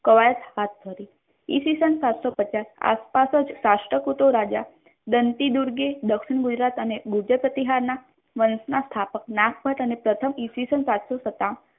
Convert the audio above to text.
ઈસ્વીસન સાતસો પચાસ માં આસપાસ જ રાષ્ટ્રકૂટો રાજા બનતી દુર્ગે દક્ષિણ ગુજરાત અને ગુર્જર પ્રતિહાર ના સ્થાપક ના નાથપત પ્રથમ સાતસો સતાવન